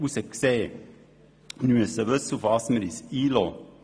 Wir müssen wissen, worauf wir uns einlassen.